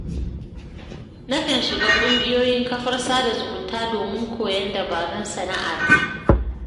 Na kan shiga ƙungiyoyin kafar sada zumunta domin koyon dabarun sana'a ta